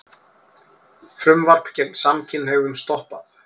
Frumvarp gegn samkynhneigðum stoppað